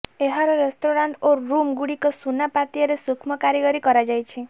ଏହାର ରେସ୍ତରାଣ୍ଟ ଓ ରୁମ୍ ଗୁଡିକ ସୁନା ପାତିଆରେ ସୂକ୍ଷ୍ମ କାରିଗରୀ କରାଯାଇଛି